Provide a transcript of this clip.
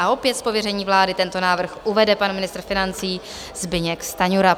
A opět z pověření vlády tento návrh uvede pan ministr financí Zbyněk Stanjura.